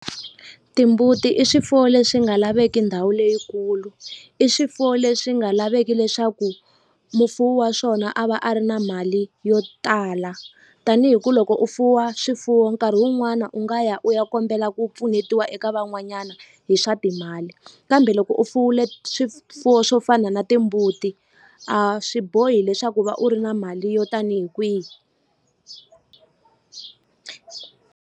Timbuti i swifuwo leswi nga laveki ndhawu leyikulu i swifuwo leswi nga laveki leswaku mufuwi wa swona a va a ri na mali yo tala tanihi ku loko u fuwa swifuwo nkarhi wun'wana u nga ya u ya kombela ku pfunetiwa eka van'wanyana hi swa timali kambe loko u fuwile swifuwo swo fana na timbuti a swi bohi leswaku va u ri na mali yo tanihi kwihi.